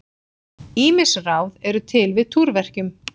Ýmis ráð eru til við túrverkjum.